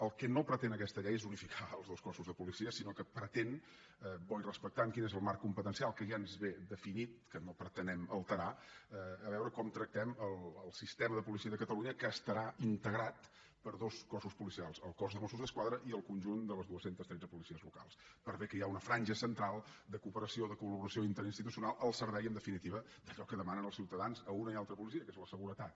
el que no pretén aquesta llei és unificar els dos cossos de policia sinó que pretén bo i respectant quin és el marc competencial que ja ens ve definit que no pretenem alterar a veure com tractem el sistema de policia de catalunya que estarà integrat per dos cossos policials el cos de mossos d’esquadra i el conjunt de les dos cents i tretze policies locals per bé que hi ha una franja central de cooperació de col·laboració interinstitucional el servei en definitiva d’allò que demanen els ciutadans a una i altra policia que és la seguretat